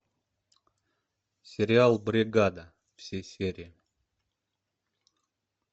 сериал бригада все серии